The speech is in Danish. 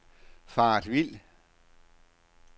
faret vild